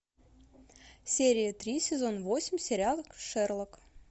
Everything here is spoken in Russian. серия три сезон восемь сериал шерлок